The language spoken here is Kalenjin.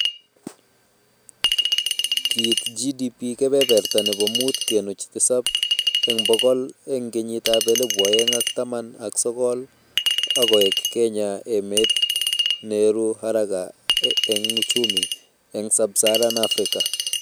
Kiit GDP kebeberta nebo muut kenuch tisab eng bokol eng kenyitab elebu oeng ak taman ak sokol akoek Kenya emet neeru haraka eng uchumi eng sub-Saharan Africa